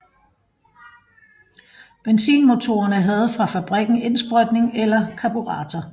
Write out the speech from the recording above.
Benzinmotorerne havde fra fabrikken indsprøjtning eller karburator